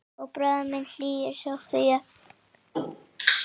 Og bróðir minn hlýju Sofíu.